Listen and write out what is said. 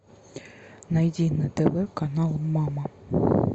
найди на тв канал мама